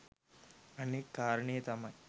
අනෙත් කාරණය තමයි